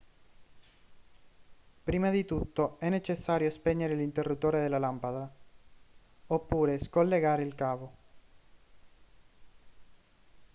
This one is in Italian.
prima di tutto è necessario spegnere l'interruttore della lampada oppure scollegare il cavo